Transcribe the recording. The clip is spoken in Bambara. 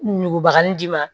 Nugubaga nn d'i ma